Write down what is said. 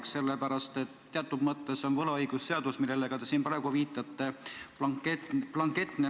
Seda sellepärast, et teatud mõttes on võlaõigusseaduses, millele ka te siin praegu viitate, blanketne norm olemas.